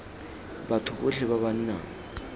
batho botlhe ba ba nang